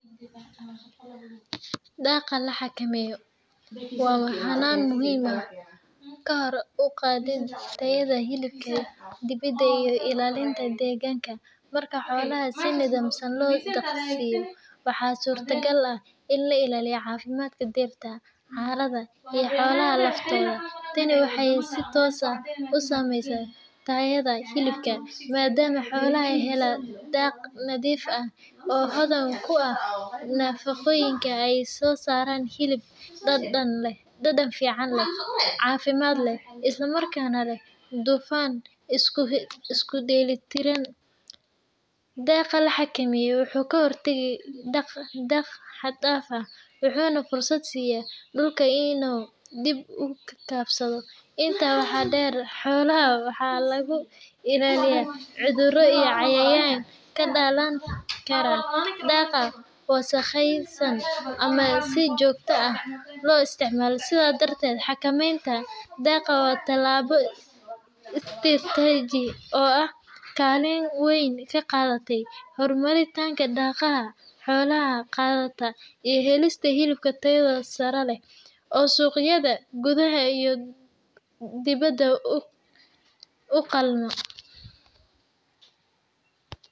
Daaqa la xakameeyo waa hannaan muhiim u ah kor u qaadidda tayada hilibka dibida iyo ilaalinta deegaanka. Marka xoolaha si nidaamsan loo daaqsiiyo, waxaa suurtagal ah in la ilaaliyo caafimaadka dhirta, carrada, iyo xoolaha laftooda. Tani waxay si toos ah u saamaysaa tayada hilibka, maadaama xoolaha hela daaq nadiif ah oo hodan ku ah nafaqooyinka ay soo saaraan hilib dhadhan fiican leh, caafimaad leh, isla markaana leh dufan isku dheeli tiran. Daaqa la xakameeyo wuxuu ka hortagaa daaq xad-dhaaf ah, wuxuuna fursad siiyaa dhulka inuu dib u kabsado. Intaa waxaa dheer, xoolaha waxaa laga ilaaliyaa cudurro iyo cayayaan ka dhalan kara daaqa wasakhaysan ama si joogto ah loo isticmaalo. Sidaas darteed, xakameynta daaqa waa tallaabo istiraatiiji ah oo kaalin weyn ka qaadata horumarinta dhaqaalaha xoolo-dhaqatada iyo helista hilib tayo sare leh oo suuqyada gudaha iyo dibadda u qalma.